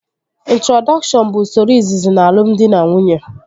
Introdọkshọn bụ usoro izizi n'alumdị na nwunye